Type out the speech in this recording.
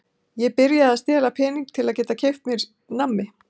Ég byrjaði að stela pening til að geta keypt mér nammi.